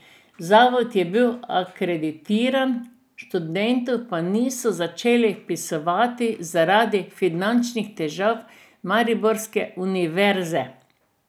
Zavod je bil akreditiran, študentov pa niso začeli vpisovati zaradi finančnih težav mariborske univerze.